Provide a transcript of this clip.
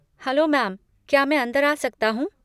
Hello ma'am, क्या मैं अंदर आ सकता हूँ?